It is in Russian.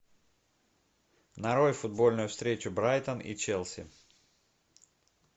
нарой футбольную встречу брайтон и челси